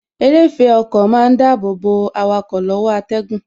Eréfèé ọkọ má ń dàbọ̀ bo awakọ̀ lọ́wọ́ atẹ́gùn